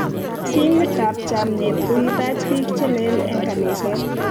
Timit ab chamiet kokitach biik chelel eng kaniset